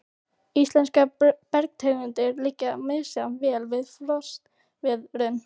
Íslenskar bergtegundir liggja misjafnlega vel við frostveðrun.